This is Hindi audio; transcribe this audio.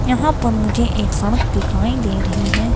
यहां पर मुझे एक सड़क दिखाई दे रही है.